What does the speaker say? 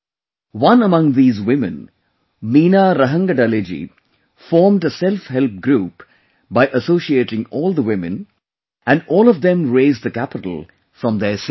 One among these women, Meena Rahangadale ji formed a 'Self Help Group' by associating all the women, and all of them raised capital from their savings